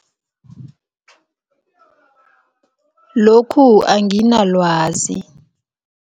Lokhu anginalwazi.